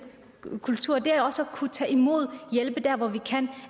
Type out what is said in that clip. kultur er også at kunne tage imod og hjælpe der hvor vi kan